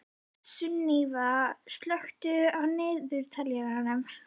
Sunníva, slökktu á niðurteljaranum.